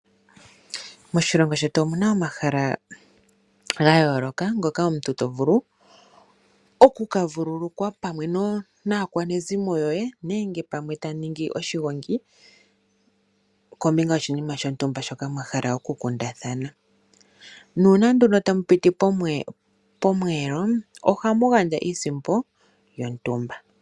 Moshilongo shetu omuna omahala ga yooloka ngoka omuntu to vulu oku ka vululukwa pamwe naakwanezimo yoye nenge pamwe tamu ningi oshigongi kombinga yoshinima shontumba shoka mwa hala oku kundathana, nuuna nduno tamu piti pomweelo ohamu gandja iisimpo yontumba.